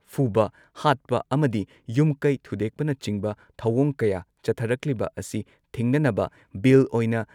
ꯐꯨꯕ, ꯍꯥꯠꯄ ꯑꯃꯗꯤ ꯌꯨꯝꯀꯩ ꯊꯨꯗꯦꯛꯄꯅꯆꯤꯡꯕ ꯊꯧꯑꯣꯡ ꯀꯌꯥ ꯆꯠꯊꯔꯛꯂꯤꯕ ꯑꯁꯤ ꯊꯤꯡꯅꯅꯕ ꯕꯤꯜ ꯑꯣꯏꯅ